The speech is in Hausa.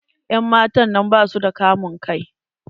En matan nan basu da kamun kai.